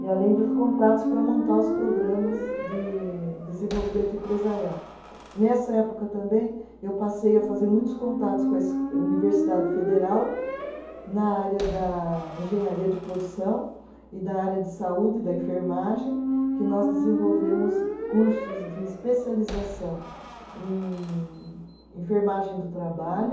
E além dos contatos para montar os programas de desenvolvimento empresarial, nessa época também eu passei a fazer muitos contatos com a esco, universidade federal na área da engenharia de produção e na área de saúde da enfermagem que nós desenvolvemos cursos de especialização em enfermagem do trabalho